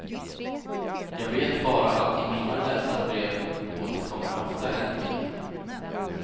Jag vet bara att i mina läsarbrev återkommer ofta en mening.